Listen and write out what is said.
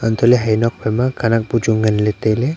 hantoh ley ha tokphai ma khenek bu chu ngan tai ley.